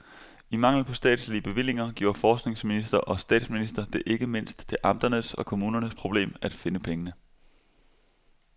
I mangel på statslige bevillinger gjorde forskningsminister og statsminister det ikke mindst til amternes og kommunernes problem at finde pengene.